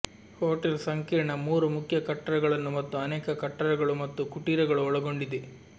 hotel ಸಂಕೀರ್ಣ ಮೂರು ಮುಖ್ಯ ಕಟ್ಟಡಗಳನ್ನು ಮತ್ತು ಅನೇಕ ಕಟ್ಟಡಗಳು ಮತ್ತು ಕುಟೀರಗಳು ಒಳಗೊಂಡಿದೆ